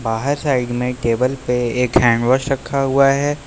बाहर साइड में टेबल पे एक हैंड वॉश रखा हुआ है।